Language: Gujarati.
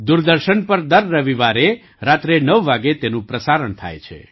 દૂરદર્શન પર દર રવિવાર રાત્રે ૯ વાગે તેનું પ્રસારણ થાય છે